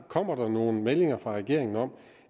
kommer nogle meldinger fra regeringen om